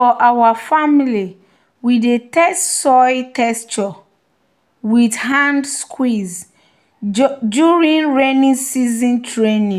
"for our family we dey test soil texture with hand squeeze during rainy season training."